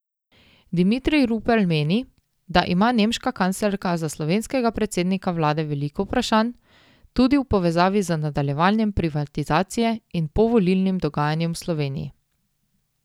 Dimitrij Rupel meni, da ima nemška kanclerka za slovenskega predsednika vlade veliko vprašanj, tudi v povezavi z nadaljevanjem privatizacije in povolilnim dogajanjem v Sloveniji.